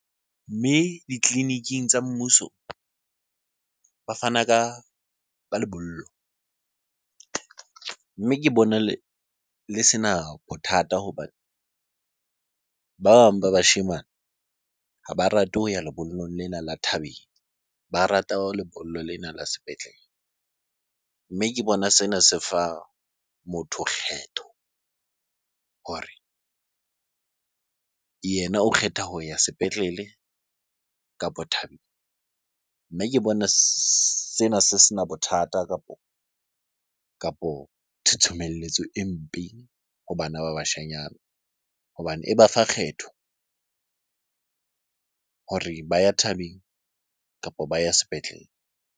Mme ditleliniking tsa mmuso ba fana ka lebollo. Mme ke bona le sena bothata hobane ba bang ba bashemane ha ba rate ho ya lebollong lena la thabeng, ba rata lebollo lena la sepetlele. Mme ke bona sena se fa motho kgetho hore yena o kgetha ho ya sepetlele kapo thabeng. Nna ke bona sena se sena bothata kapo thothomelletso e mpe ho bana ba bashanyana hobane e ba fa kgetho hore ba ya thabeng kapo ba ya sepetlele.